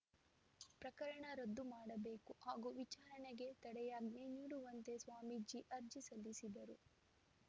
ಪ್ರಕರಣ ರದ್ದು ಮಾಡಬೇಕು ಹಾಗೂ ವಿಚಾರಣೆಗೆ ತಡೆಯಾಜ್ಞೆ ನೀಡುವಂತೆ ಸ್ವಾಮೀಜಿ ಅರ್ಜಿ ಸಲ್ಲಿಸಿದ್ದರು